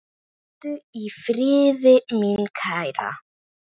Hvíldu í friði, mín kæra.